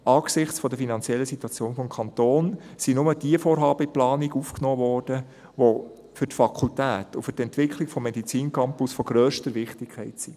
Angesichts der finanziellen Situation des Kantons wurden nur jene Vorhaben in die Planung aufgenommen, die für die Fakultät und für die Entwicklung des Medizincampus von grösster Wichtigkeit sind.